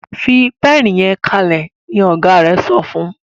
fí Pẹ́ẹ̀nì yen kalẹ! ní ọgá rẹ sọfún.